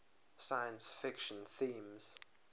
science fiction themes